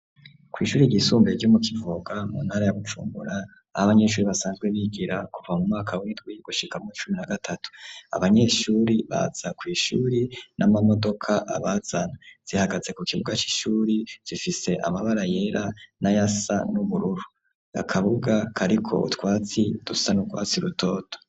Kwishuri ryisumbuye ryo mu Kivoga mu ntara ya Bujumbura ah'abanyeshure basanzwe bigira kuva mumwaka w'indwi gushika muw'icumi na gatatu, abanyeshure baza kw'ishure n'amamodoka abazana , zihagaze kukibuga c'ishuri zifise amabara yera n'ayasa n'ubururu, akabuga kariko utwatsi dusa n'ugwatsi rutoto.